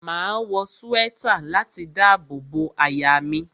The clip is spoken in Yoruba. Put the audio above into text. Máa wọ swẹ́tà láti dábò bo àyà mi.